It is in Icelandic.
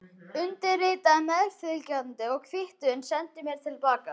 Undirritaðu meðfylgjandi kvittun og sendu mér til baka.